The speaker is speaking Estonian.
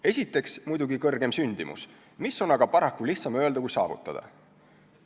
Esiteks muidugi suurem sündimus, mida on aga paraku lihtsam öelda kui saavutada.